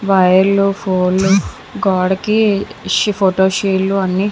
వైర్ళ్లు ఫోన్ళ్లు గోడకి షీ ఫోటో షీల్డ్స్ అన్నీ --